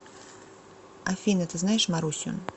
афина ты знаешь марусю